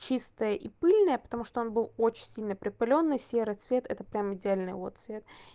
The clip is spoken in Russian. чистая и пыльная потому что он был очень сильно припылённый серый цвет это прямо идеальный его цвет